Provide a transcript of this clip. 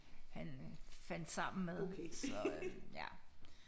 Han fandt sammen med så øh ja